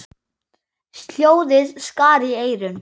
Hljóðið skar í eyrun.